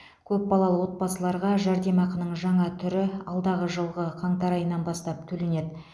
көпбалалы отбасыларға жәрдемақының жаңа түрі алдағы жылғы қаңтар айынан бастап төленеді